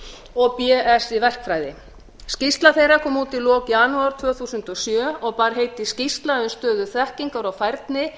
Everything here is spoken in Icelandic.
og bsc í verkfræði skýrsla þeirra kom út í lok janúar tvö þúsund og sjö og bar heitið skýrsla um stöðu þekkingar og færni